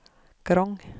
Grong